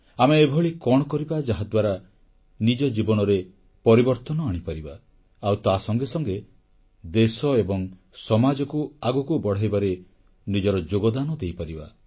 ଆମେ ଏଭଳି କଣ କରିବା ଯାହାଦ୍ୱାରା ନିଜ ଜୀବନରେ ପରିବର୍ତ୍ତନ ଆଣିପାରିବା ଆଉ ତା ସଙ୍ଗେ ସଙ୍ଗେ ଦେଶ ଏବଂ ସମାଜକୁ ଆଗକୁ ବଢ଼ାଇବାରେ ନିଜର ଯୋଗଦାନ ଦେଇପାରିବା